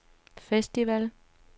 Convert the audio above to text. festival